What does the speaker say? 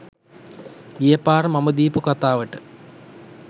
ගිය පාර මම දීපු කතාවට